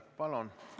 Palun!